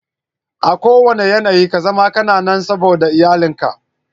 A kuwanna yanayi kazama kana nan saboda iyalin ka.